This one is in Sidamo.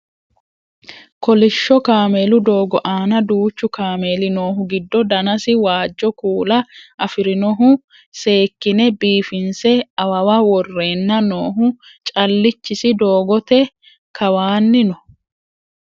koilshsho kameelu doogo aana duuchu kameeli noohu giddo danasi waajjo kuula afirinohu seekkine biifinse awawa worreenna noohu callichisi doogote kawaanni no